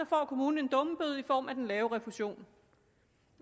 får kommunen en dummebøde i form af den lave refusion